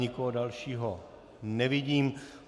Nikoho dalšího nevidím.